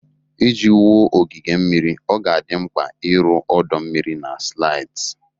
Iji wuo ogige mmiri, ọ ga-adị mkpa ịrụ ọdọ mmiri na slides